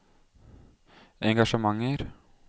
engasjementer